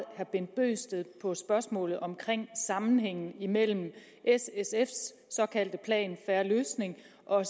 herre bent bøgsted på spørgsmålet om sammenhængen imellem s sfs såkaldte plan en fair løsning og